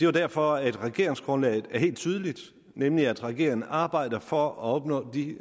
er derfor at regeringsgrundlaget er helt tydeligt nemlig at regeringen arbejder for at opnå de